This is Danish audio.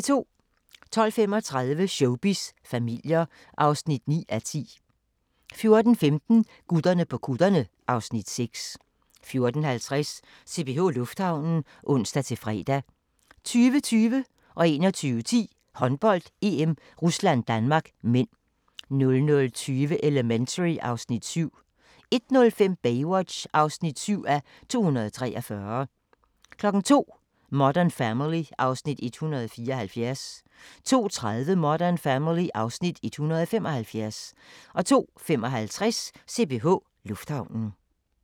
12:35: Showbiz familier (9:10) 14:15: Gutterne på kutterne (Afs. 6) 14:50: CPH Lufthavnen (ons-fre) 20:20: Håndbold: EM - Rusland-Danmark (m) 21:10: Håndbold: EM - Rusland-Danmark (m) 00:20: Elementary (Afs. 7) 01:05: Baywatch (7:243) 02:00: Modern Family (Afs. 174) 02:30: Modern Family (Afs. 175) 02:55: CPH Lufthavnen